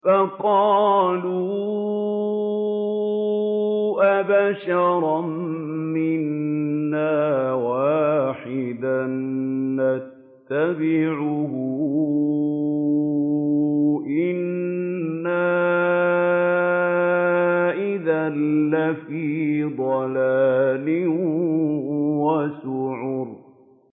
فَقَالُوا أَبَشَرًا مِّنَّا وَاحِدًا نَّتَّبِعُهُ إِنَّا إِذًا لَّفِي ضَلَالٍ وَسُعُرٍ